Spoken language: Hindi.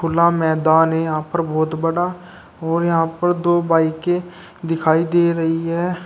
खुला मैदान है यहां पर बहुत बड़ा और यहां पर दो बाईकें दिखाई दे रही हैं।